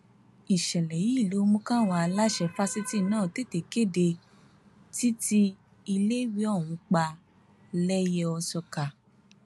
ìṣẹlẹ yìí ló mú káwọn aláṣẹ fásitì náà tètè kéde títí iléèwé ọhún pa lẹyẹòsọkà